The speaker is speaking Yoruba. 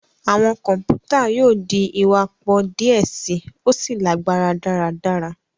Awọn kọmputa yóò di iwapọ diẹ sii, o sí lagbara daradara.